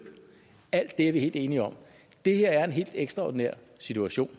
alt det er vi helt enige om det her er en helt ekstraordinær situation